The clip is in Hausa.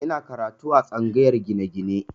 Ina karatu a tsangayar gine-gine